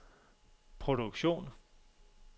produktion